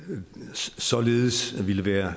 således ville være